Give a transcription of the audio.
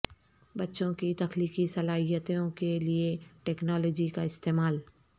بچوں کی تخلیقی صلاحیتوں کے لئے ٹیکنالوجی کا استعمال